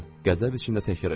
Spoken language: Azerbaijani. qəzəb içində təkrar elədim.